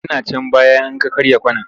Yana can baya in ka karya kwana.